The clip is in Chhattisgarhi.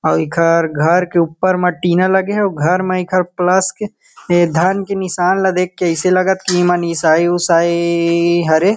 अउ ऐखर घर के ऊपर मा टीना लगे हे और घर मा एकर प्लस के ए धन के निशान लगे देखत ऐसे लगत की ईमन ईसाई उसाई हरे।